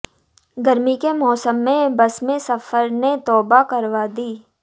गर्मी के मौसम में बस में सफर ने तौबा करवा दी